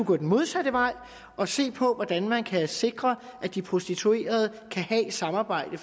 gå den modsatte vej og se på hvordan man kan sikre at de prostituerede kan have et samarbejde